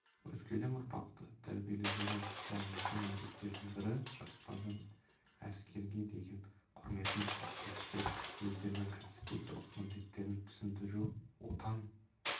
өскелең ұрпақты тәрбиелудегі маңызды міндеттердің бірі жастардың әскерге деген құрметін қалыптастыру өздерінің конституциялық міндеттерін түсіндіру отан